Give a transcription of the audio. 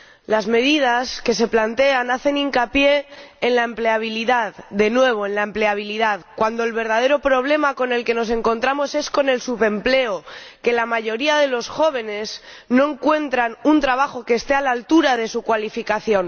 Las medidas que se plantean hacen hincapié en la empleabilidad de nuevo, la empleabilidad cuando el verdadero problema con el que nos encontramos es el subempleo la mayoría de los jóvenes no encuentran un trabajo que esté a la altura de su cualificación.